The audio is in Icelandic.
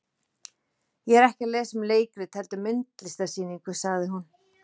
Ég er ekki að lesa um leikrit heldur myndlistarsýningu, sagði hún.